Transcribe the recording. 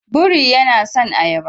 Buri yana son ayaba.